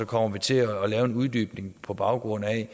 kommer vi til at lave en uddybning på baggrund af